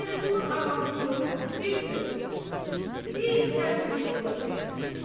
Vəliqulu anasını bir tövrnən, bir fəndnən yola gətirə.